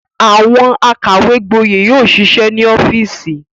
Àwọn akàwégboyè yóò ṣiṣẹ́ ní ọ́fíísì.